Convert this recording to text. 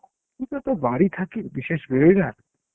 পুজো এ তো বাড়ি থাকি বিশেষ বেরই না